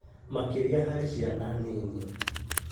makĩria harĩ ciana nini.